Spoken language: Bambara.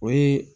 O ye